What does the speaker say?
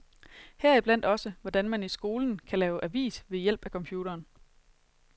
Heriblandt også, hvordan man i skolen kan lave avis ved hjælp af computeren.